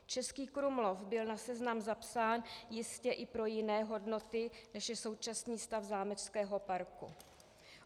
Český Krumlov byl na seznam zapsán jistě i pro jiné hodnoty, než je současný stav zámeckého parku.